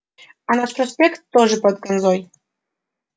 а наш проспект тоже под ганзой